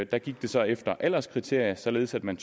der gik det så efter alderskriterium således at man